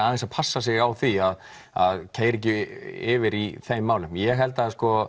aðeins að passa sig á því að keyra ekki yfir í þeim málum ég held